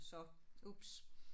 Så ups